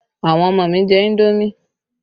Àwọn ọmọ mi jẹ indomi